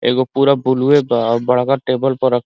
एगो पूरा बुलुए बा अ बड़का टेबल प रक् --